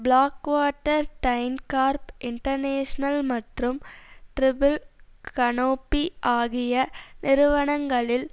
Blackwater DynCorp International மற்றும் Triple Canopy ஆகிய நிறுவனங்களில்